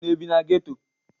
Unu ebị na geto?